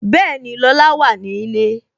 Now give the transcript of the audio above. Bẹẹni, Lola wà ní ilé